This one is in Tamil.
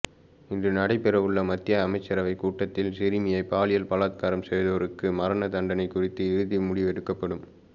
இன்று நடைபெற உள்ள மத்திய அமைச்சரவைக் கூட்டத்தில் சிறுமியைப் பாலியல் பலாத்காரம் செய்வோருக்கு மரண தண்டனை குறித்து இறுதி முடிவெடுக்கப்படும்